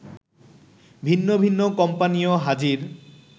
ভিন্ন ভিন্ন কোম্পানিও হাজির